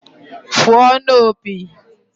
Fụọnụ opi!